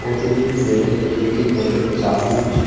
প্রতিটি প্লেট -এ একটি করে চামুচ--